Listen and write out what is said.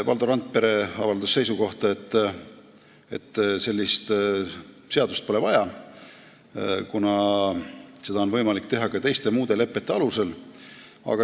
Valdo Randpere avaldas seisukohta, et sellist seadust pole vaja, kuna seda kõike on võimalik teha ka muude lepete alusel.